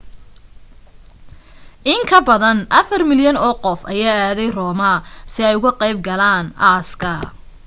in ka badan afar milyan oo qof ayaa aaday rome si ay uga qayb galaan aaska